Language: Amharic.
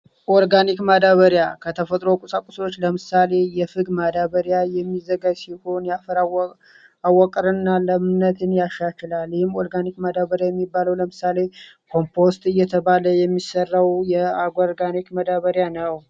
ኦርጋኒክ ማዳበሪያ ከተፈጥሮ ቁሳቁሶዎች ለምሳሌ የፍግ ማዳበሪያ የሚዘገጋጅ ሲሆን የአፈር አወቃቀርና ለምነትን ያሻሽላል። ይህም ኦርጋኒክ ማዳበሪያ የሚባለው ለምሳሌ ኮምፖስት እየተባለ የሚሰራው የኦርጋኒክ ማዳበሪያ ነው።